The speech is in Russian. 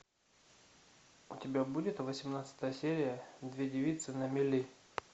у тебя будет восемнадцатая серия две девицы на мели